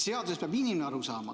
Seadusest peab inimene aru saama.